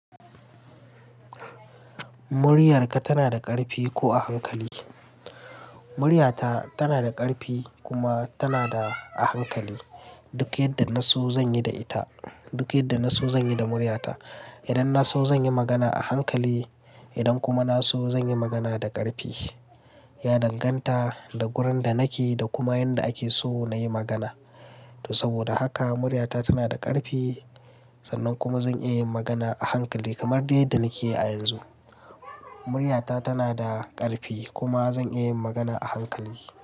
Muryarka tana da ƙarfi ko a hankali? Muryata tana da ƙarfi kuma tana a hankali. Duk yadda na so zan yi da ita. Duk yadda na so zan yi da muryata. Idan na so zan yi magana a hankali, idan kuma na so zan yi magana da ƙarfi. Ya danganta da wurin da nake da kuma yanda ake so na yi magana. To saboda haka muryata tana da ƙarfi sannan kuma zan iya yin magana a hankali kamar dai yadda nake yi a yanzu. Muryata tana da ƙarfi kuma zan iya yin magana a hankali.